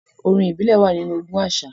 Orin ìbílẹ̀ wà nínú ogún àṣà àti àṣà.